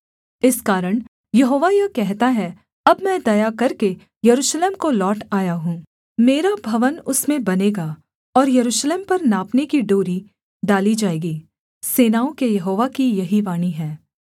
इस कारण यहोवा यह कहता है अब मैं दया करके यरूशलेम को लौट आया हूँ मेरा भवन उसमें बनेगा और यरूशलेम पर नापने की डोरी डाली जाएगी सेनाओं के यहोवा की यही वाणी है